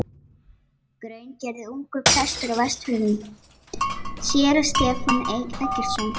Hraungerði og ungur prestur á Vestfjörðum, séra Stefán Eggertsson.